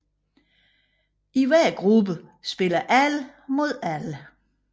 I hver gruppe spiller alle mod alle